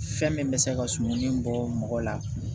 Fɛn min bɛ se ka suman nin bɔ mɔgɔ la